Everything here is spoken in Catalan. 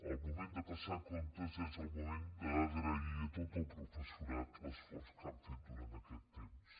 el moment de passar comptes és el moment d’agrair a tot el professorat l’esforç que han fet durant aquest temps